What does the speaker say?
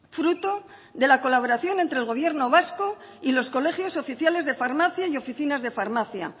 fruto de la colaboración entre el gobierno vasco y los colegios oficiales de farmacia y oficinas de farmacia